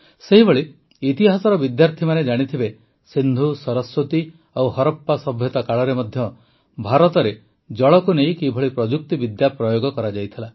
ସେହିଭଳି ଇତିହାସର ବିଦ୍ୟାର୍ଥୀମାନେ ଜାଣିଥିବେ ସିନ୍ଧୁ ସରସ୍ୱତୀ ଓ ହରପ୍ପା ସଭ୍ୟତା କାଳରେ ମଧ୍ୟ ଭାରତରେ ଜଳକୁ ନେଇ କିଭଳି ପ୍ରଯୁକ୍ତିବିଦ୍ୟା ପ୍ରୟୋଗ କରାଯାଇଥିଲା